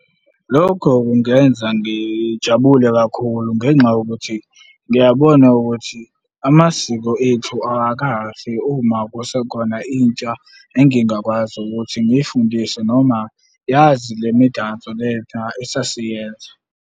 Lokho kungenza ngijabule kakhulu ngenxa yokuthi ngiyabona ukuthi amasiko ethu awakafi uma kusekhona intsha engingakwazi ukuthi ngiyifundise noma yazi le midanso lena esasiyenza.